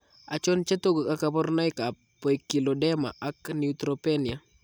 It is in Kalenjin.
Achon chetogu ak kaborunoik ab poikilodema ak neutropenia